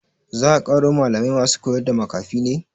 Za a ƙaro malamai masu koyarda makafi ne?